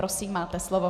Prosím, máte slovo.